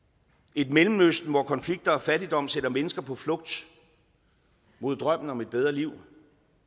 et mellemøsten hvor konflikter og fattigdom sender mennesker på flugt mod drømmen om et bedre liv